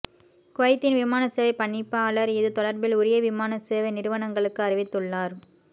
குவைத்தின் விமானசேவை பணிப்பாளர் இது தொடர்பில் உரிய விமான சேவை நிறுவனங்களுக்கு அறிவித்துள்ளார்